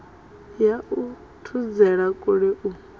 ya u thudzela kule u